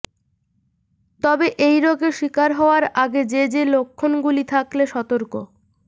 তবে এই রোগে শিকার হওয়ার আগে যে যে লক্ষণগুলি থাকলে সতর্ক